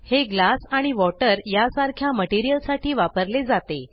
हे ग्लास आणि वॉटर यासारख्या मटेरियल साठी वापरले जाते